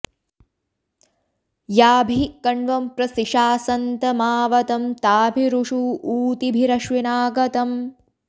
याभिः॒ कण्वं॒ प्र सिषा॑सन्त॒माव॑तं॒ ताभि॑रू॒ षु ऊ॒तिभि॑रश्वि॒ना ग॑तम्